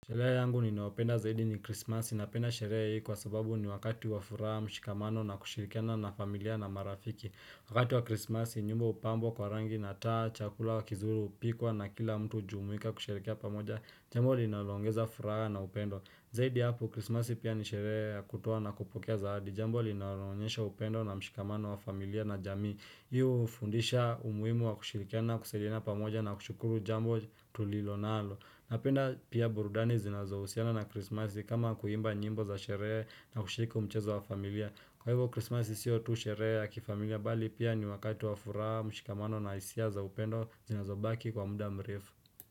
Sherehe yangu ninaopenda zaidi ni krismasi napenda Sherehe hii kwa sababu ni wakati wa furaha mshikamano na kushirikana na familia na marafiki Wakati wa krismasi nyumba upambwa kwa rangi na taa, chakula, kizuri hupikuwa na kila mtu hujumuika kusherehekea pamoja Jambo linaloongeza furaha na upendo Zaidi ya hapo apu krismasi pia ni sherehe ya kutoa na kupokea zawadi Jambo linaloonyesha upendo na mshikamano wa familia na jamii Hii hufundisha umuhimu wa kushirikana kusaidiana pamoja na kushukuru jambo tulilonalo Napenda pia burudani zinazohusiana na krismasi kama kuimba nyimbo za sherehe na ushiriki huo mchezo wa familia Kwa hivyo krismasi sio tu sherehe ya kifamilia bali pia ni wakati wa furaha mshikamano na hisia za upendo zinazobaki kwa muda mrefu.